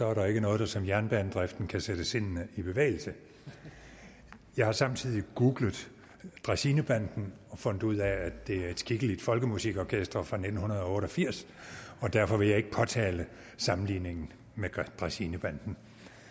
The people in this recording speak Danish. er der ikke noget der som jernbanedriften kan sætte sindene i bevægelse jeg har samtidig googlet dræsinebanden og har fundet ud af at det er et skikkeligt folkemusikorkester fra nitten otte og firs og derfor vil jeg ikke påtale sammenligningen med dræsinebanden